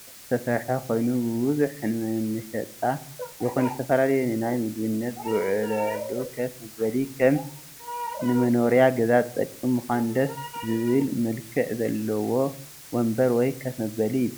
እዚ ብቆርቆሮ ዝተሰርሐ ኮይኑ ብቡዝሑ ንመነሸጣ ይኩን ንዝተፈላለየ ንናይ ምግብነት ዝውለዕሉ ከፍ መበሊ ከም ንመኖርያ ገዛ ዝጠቅም ምዃኑ ድስ ዝብል መልክዕ ዘለዎ ወንበር ወይ ከፍ መበሊ ይበሃል።